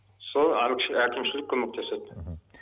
сол әкімшілік көмектеседі мхм